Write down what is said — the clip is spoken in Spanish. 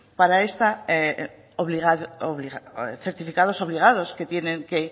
para estos certificados obligados que tienen que